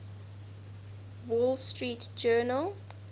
wall street journal